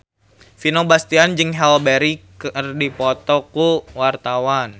Vino Bastian jeung Halle Berry keur dipoto ku wartawan